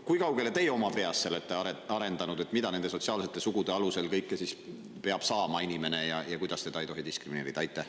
Kui kaugele teie oma peas olete arendanud seda, mida nende sotsiaalsete sugude alusel peab inimene saama ja kuidas teda ei tohi diskrimineerida?